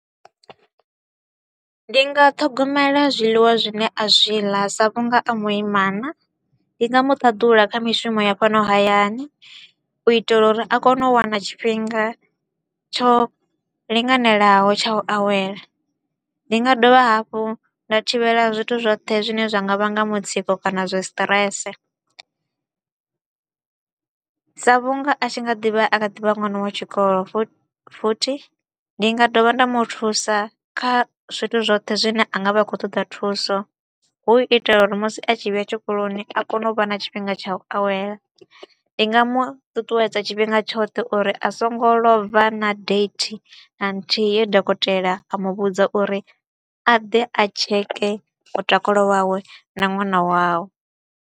Ndi nga ṱhogomela zwiḽiwa zwine a zwi ḽa sa vhunga a muimana, ndi nga mu ṱaḓula kha mishumo ya fhano hayani u itela uri a kone u wana tshifhinga tsho linganelaho tsha u awela. Ndi nga dovha hafhu nda thivhela zwithu zwoṱhe zwine zwa nga vhanga mutsiko kana zwi stress sa vhunga a tshi nga ḓivha a kha ḓivha ṅwana wa tshikolo, futhi ndi nga dovha nda mu thusa kha zwithu zwoṱhe zwine a nga vha a kho u ṱoḓa thuso. Hu itela uri musi a tshi vhuya tshikoloni a kone u vha na tshifhinga tsha u awela, ndi nga mu ṱuṱuwedza tshifhinga tshoṱhe uri a so ngo lova na date na nthihi ye dokotela a mu vhudza uri a ḓe a checke mutakalo wawe na ṅwana wawe.